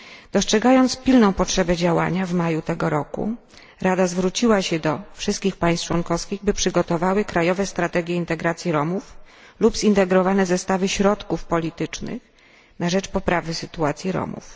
Dostrzegając pilną potrzebę działania w maju tego roku Rada zwróciła się do wszystkich państw członkowskich, by przygotowały krajowe strategie integracji Romów lub zintegrowane zestawy środków politycznych na rzecz poprawy sytuacji Romów.